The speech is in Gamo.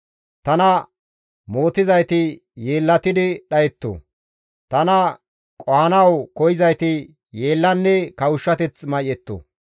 Tana mootizayti yeellatidi dhayetto. Tana qohanawu koyzayti yeellanne kawushshateth may7etto.